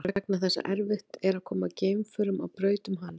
Það er vegna þess að erfitt er að koma geimförum á braut um hann.